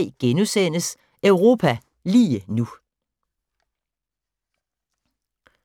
04:03: Europa lige nu *